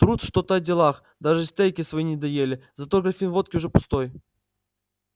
трут что-то о делах даже стейки свои не доели зато графин водки уже пустой